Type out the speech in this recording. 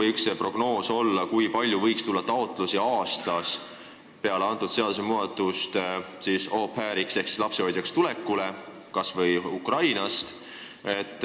Mis võiks olla prognoos, kui palju noori aastas soovib näiteks Ukrainast meile pärast seda seadusmuudatust au pair'iks ehk lapsehoidjaks tulla?